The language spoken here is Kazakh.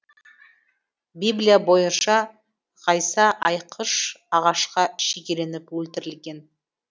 библия бойынша ғайса айқыш ағашқа шегеленіп өлтірілген